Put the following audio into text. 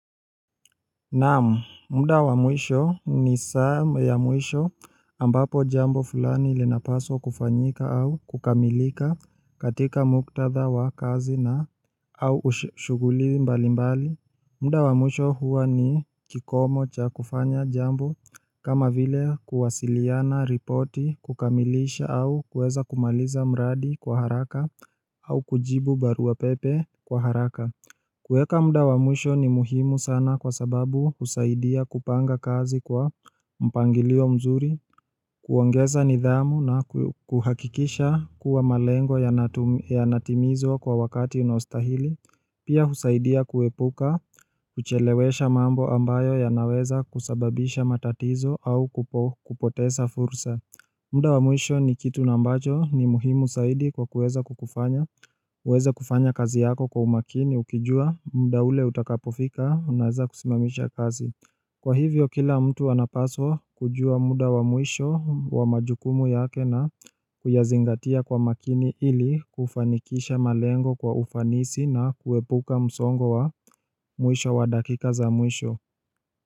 Naam, muda wa mwisho ni saa ya mwisho ambapo jambo fulani linapaswa kufanyika au kukamilika katika muktadha wa kazi na au shughuli mbali mbali muda wa mwisho huwa ni kikomo cha kufanya jambo kama vile kuwasiliana, ripoti, kukamilisha au kuweza kumaliza mradi kwa haraka au kujibu baruapepe kwa haraka kueka muda wa mwisho ni muhimu sana kwa sababu husaidia kupanga kazi kwa mpangilio mzuri, kuongeza nidhamu na kuhakikisha kuwa malengo yanatimizwa kwa wakati unaostahili, pia husaidia kuepuka, kuchelewesha mambo ambayo yanaweza kusababisha matatizo au kupoteza fursa. Muda wa mwisho ni kitu ambacho ni muhimu zaidi kwa kuweza kukufanya, uweze kufanya kazi yako kwa umakini ukijua muda ule utakapofika unaeza kusimamisha kazi. Kwa hivyo kila mtu anapaswa kujua muda wa mwisho wa majukumu yake na kuyazingatia kwa makini ili kufanikisha malengo kwa ufanisi na kuepuka msongo wa mwisho wa dakika za mwisho.